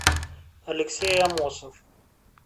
алексей амосов